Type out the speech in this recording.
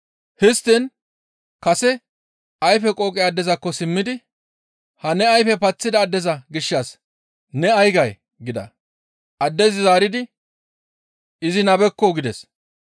Histtiin kase ayfe qooqe addezakko simmidi, «Ha ne ayfe paththida addeza gishshas ne ay gay?» gida. Addezi zaaridi, «Izi nabekko!» gides.